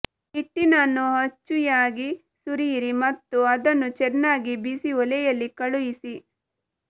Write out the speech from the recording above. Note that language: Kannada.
ಹಿಟ್ಟಿನನ್ನು ಅಚ್ಚುಯಾಗಿ ಸುರಿಯಿರಿ ಮತ್ತು ಅದನ್ನು ಚೆನ್ನಾಗಿ ಬಿಸಿ ಒಲೆಯಲ್ಲಿ ಕಳುಹಿಸಿ